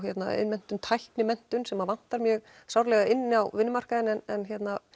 iðnmenntun tæknimenntun sem vantar mjög sárlega inn á vinnumarkaðinn en